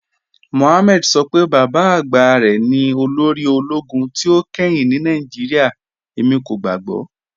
Mọhàmmẹ̀dì sọ pé baba agba rẹ ni olórì ologun tí o kẹ́hìn ni Nigeria, ẹmi kò gbàgbọ̀."